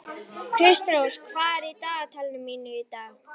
Kristrós, hvað er á dagatalinu mínu í dag?